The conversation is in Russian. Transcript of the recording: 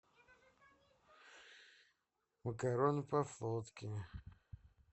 макароны по флотски